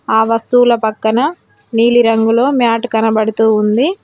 ఆ వస్తువుల పక్కన నీలి రంగులో మ్యాట్ కనబడుతూ ఉంది.